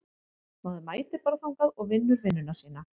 Maður mætir bara þangað og vinnur vinnuna sína.